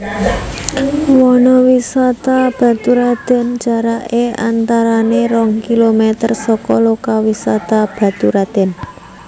Wanawisata Baturradèn jaraké antarané rong kilometer saka lokawisata Baturadèn